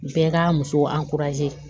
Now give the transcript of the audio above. Bɛɛ ka musow